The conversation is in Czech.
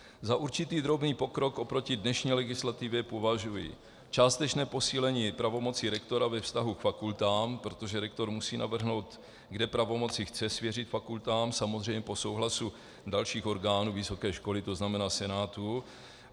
Za určitý drobný pokrok oproti dnešní legislativě považuji částečné posílení pravomocí rektora ve vztahu k fakultám, protože rektor musí navrhnout, kde pravomoci chce svěřit fakultám, samozřejmě po souhlasu dalších orgánů vysoké školy, to znamená senátu.